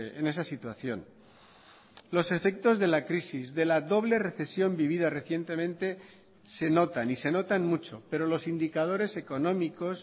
en esa situación los efectos de la crisis de la doble recesión vivida recientemente se notan y se notan mucho pero los indicadores económicos